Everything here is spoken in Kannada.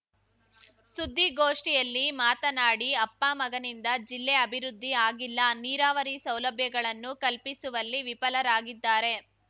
ಸುದ್ದಿಗೋಷ್ಠಿಯಲ್ಲಿ ಮಾತನಾಡಿ ಅಪ್ಪಮಗನಿಂದ ಜಿಲ್ಲೆ ಅಭಿವೃದ್ಧಿ ಆಗಿಲ್ಲ ನೀರಾವರಿ ಸೌಲಭ್ಯಗಳನ್ನು ಕಲ್ಪಿಸುವಲ್ಲಿ ವಿಫಲರಾಗಿದ್ದಾರೆ